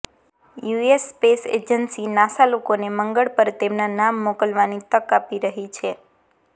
US space agency NASA લોકોને મંગળ પર તેમના નામ મોકલવાની તક આપી રહી છે